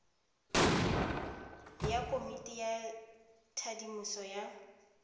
ya komiti ya thadiso ya